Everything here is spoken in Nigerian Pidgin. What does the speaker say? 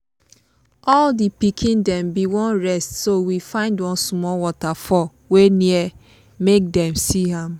all the pikin dem been wan rest so we find one small waterfall wey near make dem see am.